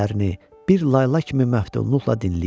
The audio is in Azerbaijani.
bir layla kimi məftunluqla dinləyirdi.